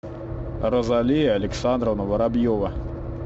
розалия александровна воробьева